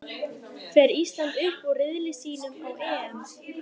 Fer Ísland upp úr riðli sínum á EM?